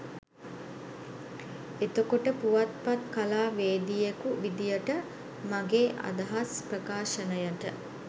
එතකොට පුවත්පත්කලාවේදියෙකු විදියට මගේ අදහස් ප්‍රකාශනයට